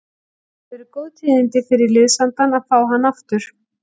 Það eru góð tíðindi fyrir liðsandann að fá hann aftur.